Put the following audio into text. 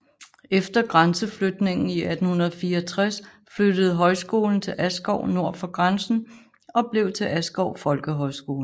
Efter grænseflytningen i 1864 flyttede højskolen til Askov nord for grænsen og blev til Askov Folkehøjskole